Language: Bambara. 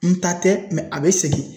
N ta tɛ a be segin